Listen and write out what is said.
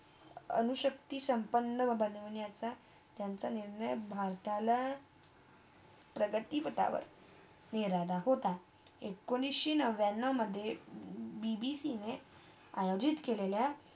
अणुशक्ती संपणं बनवण्याचा, त्यांचा निर्णय भारताला प्रगतीपठवर मिळवा होता एकोणीस नव्यान्नवमधे BBC ने आयोजित केलेल्या